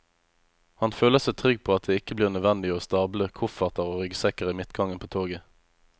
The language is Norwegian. Han føler seg trygg på at det ikke blir nødvendig å stable kofferter og ryggsekker i midtgangen på toget.